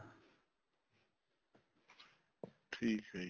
ਠੀਕ ਏ ਜੀ